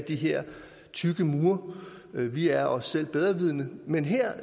de her tykke mure vi er os selv bedrevidende men her